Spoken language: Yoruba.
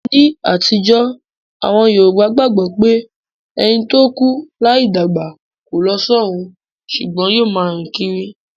Ní àtijó, àwon Yorùbá gbagbo pé ẹni to kú láì dàgbà ko lo sọrun sùgbón yio ma rìn kírí